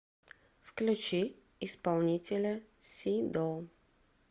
включи исполнителя сидо